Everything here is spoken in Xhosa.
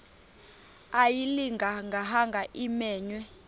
ayilinga gaahanga imenywe